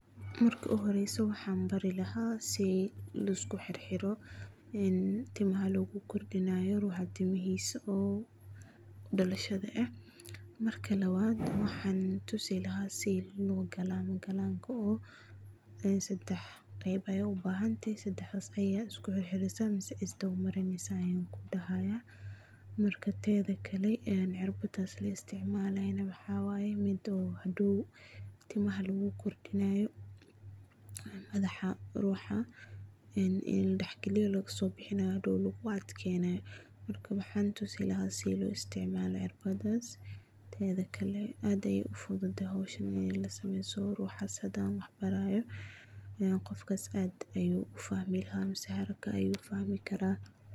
Marki ujoreyso waxan barii lahay si liskuxirxiro een timaha lagugordinayo ruxaa timiha uu udalasha eh, marka lawad waxan tusi lahaa sidhi logalamo galamka oo sadax geb, waxad ubahantaxay tinta ayada iskuhirhireysa, Waxad marineysa ,marka tedakale een xirbadas laisticmalayo waxa wayee mid oo hadow timaha lagukordinayo, madaxa rux een ladahgalinayo lagusobihinayo laguadkeynayo, marka waxan tusii lahaa sida loisticmalaya cirbadas, tedakale aad ayay ufududahay xowshaan ini lasameyo siuu ruxas hadu wax barayo, ilen gofkas aad ayu ufahmi lahaa mise ayu fahmikaraa.